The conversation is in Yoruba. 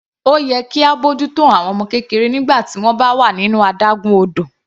Ó yẹ kí á bójú tó àwọn ọmọ kékeré nígbà tí wọ́n bá wà nínú adágún odò.